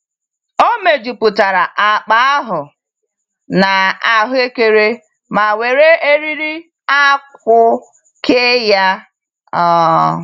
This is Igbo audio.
O mejupụtara akpa ahụ na ahuekere ma were eriri akwụ kee ya. um